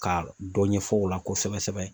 Ka dɔ ɲɛfɔ u la kosɛbɛ sɛbɛ.